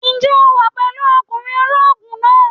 Ǹjẹ́ o wà pẹ̀lú ọkùnrin ológun náà?